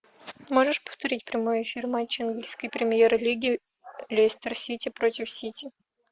можешь повторить прямой эфир матча английской премьер лиги лестер сити против сити